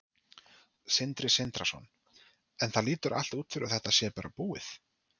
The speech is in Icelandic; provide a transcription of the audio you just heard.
Sindri Sindrason: En það lítur allt út fyrir að þetta sé bara búið?